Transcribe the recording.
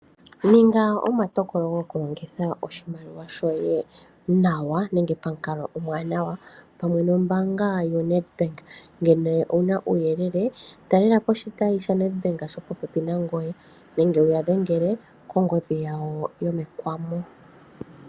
Ninga omatokolo gokulongitha oshimaliwa shoye nawa nenge pamukalo omuwanawa pamwe nombaanga yo Ned bank, ngele owuna uuyele talelapo oshitayi shaNed bank shopopepi nangoye nenge uya dhengele kongodhi yawo yomekwamo.